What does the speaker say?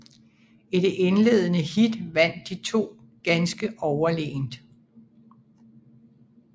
I det indledende heat vandt de to ganske overlegent